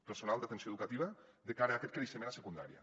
personal d’atenció educativa de cara a aquest creixement a secundària